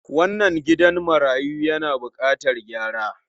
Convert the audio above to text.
Wannan gidan marayu yana bukatar gyara.